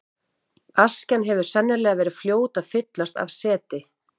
Askjan hefur sennilega verið fljót að fyllast af seti.